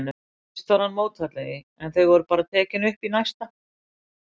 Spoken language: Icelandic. Fyrst var hann mótfallinn því, en þau voru bara tekin upp í næsta.